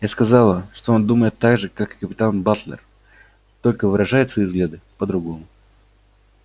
я сказала что он думает так же как капитан батлер только выражает свои взгляды по-другому